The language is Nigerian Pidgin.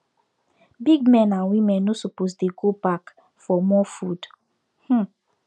big men and women no suppose dey go back for more food um